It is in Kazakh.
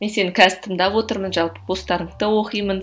мен сені қазір тыңдап отырмын жалпы постарыңды да оқимын